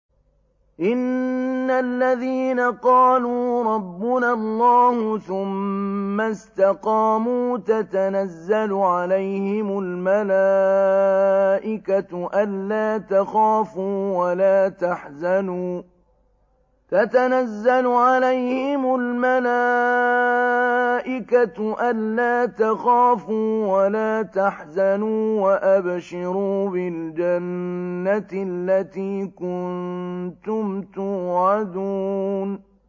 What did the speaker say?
إِنَّ الَّذِينَ قَالُوا رَبُّنَا اللَّهُ ثُمَّ اسْتَقَامُوا تَتَنَزَّلُ عَلَيْهِمُ الْمَلَائِكَةُ أَلَّا تَخَافُوا وَلَا تَحْزَنُوا وَأَبْشِرُوا بِالْجَنَّةِ الَّتِي كُنتُمْ تُوعَدُونَ